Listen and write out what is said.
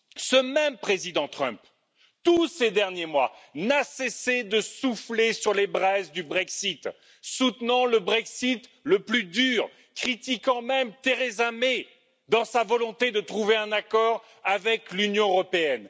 Ce même président Trump, durant tous ces derniers mois, n'a cessé de souffler sur les braises du Brexit, soutenant le Brexit le plus dur, critiquant même Theresa May dans sa volonté de trouver un accord avec l'Union européenne.